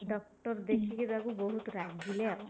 doctor ଦେଖିକି ତାଙ୍କୁ ବହୁତ ରାଗିଲେ ଆଉ